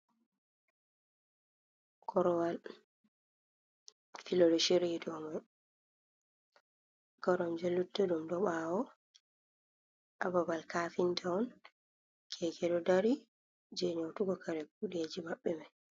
Korowal filo ɗo shiryi ha ɗau man kormje luttu ɗum ɗo ɓawo ha babal cafinta on keke ɗo dari je nyotugo kare kuɗeji maɓɓe mai.